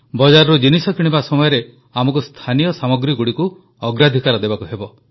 ବଜାରରୁ ଜିନିଷ କିଣିବା ସମୟରେ ଆମକୁ ସ୍ଥାନୀୟ ସାମଗ୍ରୀଗୁଡ଼ିକୁ ଅଗ୍ରାଧିକାର ଦେବାକୁ ହେବ